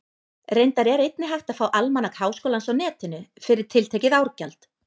Reyndar er einnig hægt að fá Almanak Háskólans á Netinu, fyrir tiltekið árgjald.